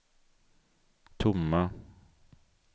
tomma